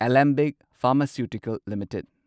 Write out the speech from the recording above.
Alembic pharmaceutical limited